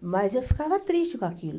mas eu ficava triste com aquilo.